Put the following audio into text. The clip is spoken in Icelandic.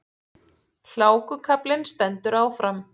Hlákukaflinn stendur áfram